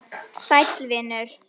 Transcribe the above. Sæll vinur